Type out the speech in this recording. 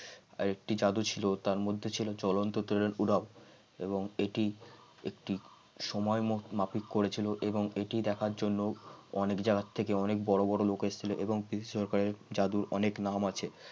আরেকটি জাদু ছিল তার মধ্যে তার মধ্যে ছিল চলন্ত তেলের পূরক এটি সময় মাফিক করেছিল এবং এটি দেখার জন্য অনেক জায়গা থেকে অনেক বড় বড় লোক এসেছিল এবং পিসি সরকারের জাদুর অনেক নাম আছে